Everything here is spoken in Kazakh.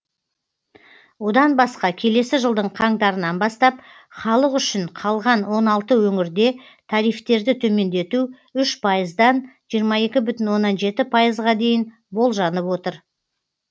одан басқа келесі жылдың қаңтарынан бастап халық үшін қалған он алты өңірде тарифтерді төмендету үш пайыздан жиырма екі бүтін оннан жеті пайызға дейін болжанып отыр